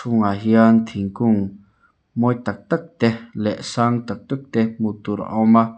ah hian thingkung mawi tak tak te leh sang tak tak te hmuh tur a awm a.